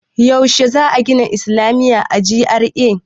Yaushe za a gina islamiya a GRA?